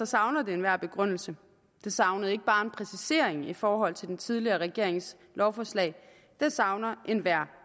savner det enhver begrundelse det savner ikke bare en præcisering i forhold til den tidligere regerings lovforslag det savner enhver